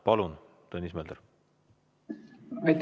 Palun, Tõnis Mölder!